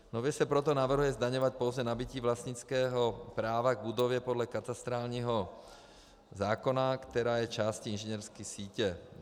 Nově se proto navrhuje zdaňovat pouze nabytí vlastnického práva k budově podle katastrálního zákona, která je částí inženýrské sítě.